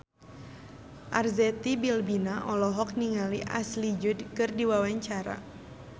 Arzetti Bilbina olohok ningali Ashley Judd keur diwawancara